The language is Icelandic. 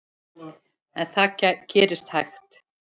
En það gerist hægt.